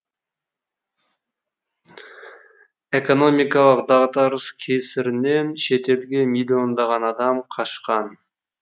экономикалық дағдарыс кесірінен шетелге миллиондаған адам қашқан